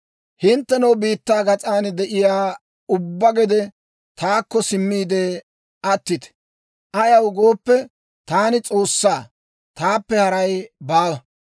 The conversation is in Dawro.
«Hinttenoo biittaa gas'an de'iyaa ubba asatoo, taakko simmiide, attite. Ayaw gooppe, taani S'oossaa; taappe haray baawa.